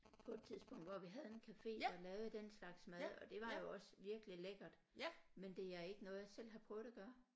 På et tidspunkt hvor vi havde en cafe der lavede den slags mad og det var jo også virkelig lækkert men det er ikke noget jeg selv har prøvet at gøre